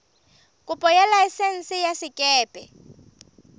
kopo ya laesense ya sekepe